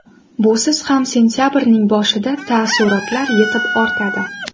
Busiz ham sentabrning boshida taassurotlar yetib ortadi.